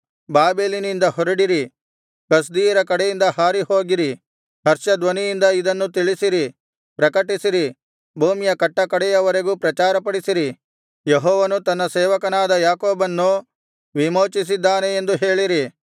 ಬಾಬೆಲಿನಿಂದ ಹೊರಡಿರಿ ಕಸ್ದೀಯರ ಕಡೆಯಿಂದ ಹಾರಿಹೋಗಿರಿ ಹರ್ಷಧ್ವನಿಯಿಂದ ಇದನ್ನು ತಿಳಿಸಿರಿ ಪ್ರಕಟಿಸಿರಿ ಭೂಮಿಯ ಕಟ್ಟಕಡೆಯವರೆಗೂ ಪ್ರಚಾರಪಡಿಸಿರಿ ಯೆಹೋವನು ತನ್ನ ಸೇವಕನಾದ ಯಾಕೋಬನ್ನು ವಿಮೋಚಿಸಿದ್ದಾನೆ ಎಂದು ಹೇಳಿರಿ